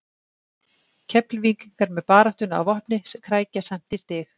Keflvíkingar með baráttuna að vopni krækja samt í stig.